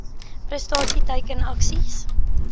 prestasie teiken aksies